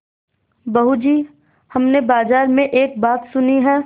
बहू जी हमने बाजार में एक बात सुनी है